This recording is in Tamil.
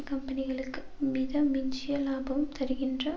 கம்பெனிகளுக்கு மித மிஞ்சிய இலாபம் தருகின்ற